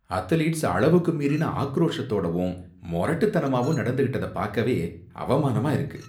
Athletes அளவுக்கு மீறின ஆக்ரோஷத்தோடவும் மொரட்டுத்தனமாவும் நடந்துக்கிட்டதை பாக்கவே அவமானமா இருக்கு.